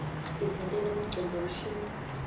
tisentela bongcondvo mshini